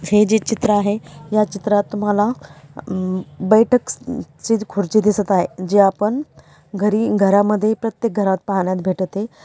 हे जे चित्र आहे या चित्रात तुम्हाला म बैठक ची खुर्ची दिसत आहे जे आपण घरी घरामध्ये प्रत्येक घरात पाहण्यात भेटते.